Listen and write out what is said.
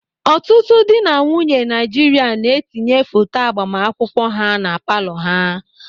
Ọtụtụ dị na nwunye Naịjirịa na-etinye foto agbamakwụkwọ ha na palọ ha.